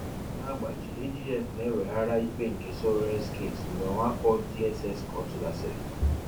NA-AGBAJI: AGF na-eweghara ikpe nke Sowore's Case Mgbe mwakpo DSS Court gasịrị